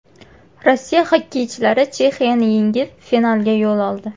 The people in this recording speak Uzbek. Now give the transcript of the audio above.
Rossiya xokkeychilari Chexiyani yengib, finalga yo‘l oldi.